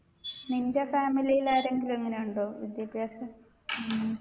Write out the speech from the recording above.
നിൻെറ family ൽ ആരെങ്കിലും അങ്ങനെയുണ്ടോ വിദ്യാഭ്യാസം ഉം